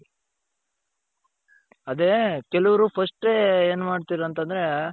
ಅದೇ ಕೆಲವರು firstಟೆ ಎನ್ ಮಾಡ್ತಿರ ಅಂತಂದ್ರೆ ನಮ್ಮವರು first ದುಡ್ಡು ಏನು ಮನೆ ದುಡ್ಡು ಜಾಸ್ತಿ ಬರಬೇಕು.